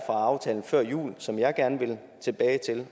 aftalen før jul som jeg gerne vil tilbage til